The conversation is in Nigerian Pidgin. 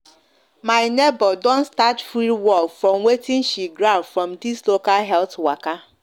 my neighbor don start free work from watin she grab from this local health waka